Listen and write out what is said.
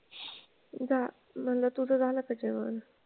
झा म्हंटलं तुझं झालं का जेवण?